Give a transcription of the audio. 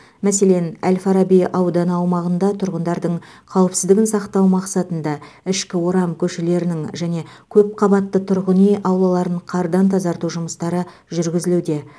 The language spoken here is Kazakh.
мәселен әл фараби ауданы аумағында тұрғындардың қауіпсіздігін сақтау мақсатында ішкі орам көшелерінің және көпқабатты тұрғын үй аулаларын қардан тазарту жұмыстары жүргізілуде